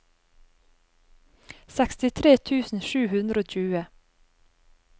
sekstitre tusen sju hundre og tjue